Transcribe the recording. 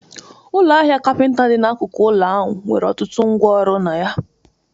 Ụlọ ahịa capinta dị n'akụkụ ụlọ ahụ nwere ọtụtụ ngwá ọrụ na ya